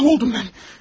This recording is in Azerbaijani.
Mən öldüm mən.